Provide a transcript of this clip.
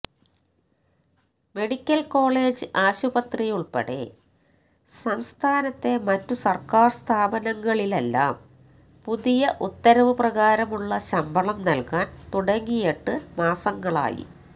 medical college ആശുപത്രിയിലുള്പ്പെടെ സംസ്ഥാനത്തെ മറ്റു സര്ക്കാര് സ്ഥാപനങ്ങളിലെല്ലാം പുതിയ ഉത്തരവ് പ്രകാരമുള്ള ശമ്പളം നല്കാന് തുടങ്ങിയിട്ട് മാസങ്ങളായി